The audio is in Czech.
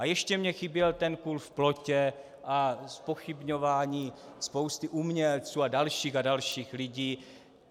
A ještě mi chyběl ten kůl v plotě a zpochybňování spousty umělců a dalších a dalších lidí.